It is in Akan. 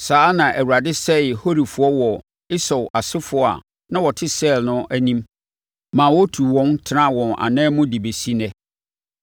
Saa ara na Awurade sɛee Horifoɔ wɔ Esau asefoɔ a na wɔte Seir no anim ma wɔtuu wɔn, tenaa wɔn anan mu de bɛsi ɛnnɛ yi.